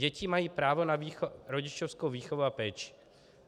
Děti mají právo na rodičovskou výchovu a péči.